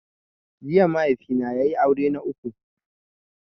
Jiya mahaifi na ya yi aure na uku